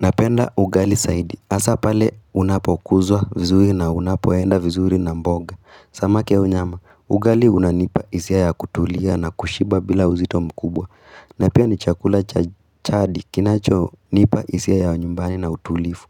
Napenda ugali saidi, hasaa pale unapokuzwa vizuri na unapoenda vizuri na mboga. Samaki au nyama, ugali unanipa hisia kutulia na kushiba bila uzito mkubwa. Na pia ni chakula chadi kinachonipa hisia ya nyumbani na utulifu.